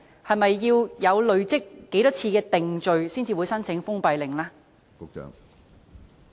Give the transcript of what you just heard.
是否要累積某一次數的定罪紀錄才會申請封閉令呢？